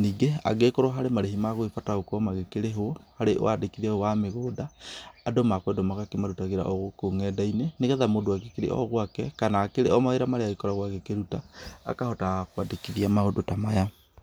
Ningĩ angĩgĩkorwo harĩ marĩhi magũgĩbatara gũkorwo magĩkĩrĩhwo harĩ waandĩkithia ũyũ wa mĩgũnda, andũ makwendwo magakĩmarutagĩra o gũkũ ng'enda-inĩ nĩgetha mũndũ agĩkĩrĩ o gwake kana akĩrĩ o mawĩra marĩa agĩkoragwo agĩkĩruta, akahotaga kũandĩkithia maũndũ ta maya.